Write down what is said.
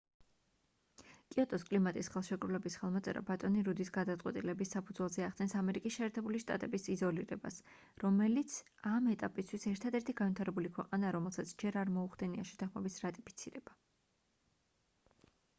კიოტოს კლიმატის ხელშეკრულების ხელმოწერა ბატონი რუდის გადაწყვეტილების საფუძველზე ახდენს ამერიკის შეერთებული შტატების იზოლირებას რომელიც ამ ეტაპისთვის ერთადერთი განვითარებული ქვეყანაა რომელსაც ჯერ არ მოუხდენია შეთანხმების რატიფიცირება